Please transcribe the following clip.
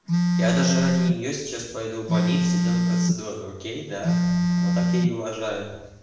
я даже ради неё сейчас поеду в больнице делаю процедуру окей да вот так я и уважаю